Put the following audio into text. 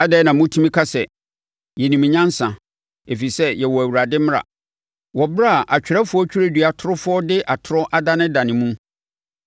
“ ‘Adɛn na motumi ka sɛ, “Yɛnim nyansa, ɛfiri sɛ yɛwɔ Awurade mmara,” wɔ ɛberɛ a atwerɛfoɔ twerɛdua torofoɔ de atorɔ adanedane mu?